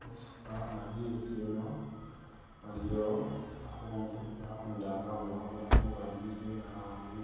Musifananyi sino waliyo a'khundu, nga a'khundu anano abonekha khuba busy naabi